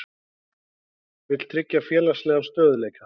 Vill tryggja félagslegan stöðugleika